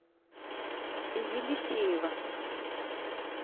елисеева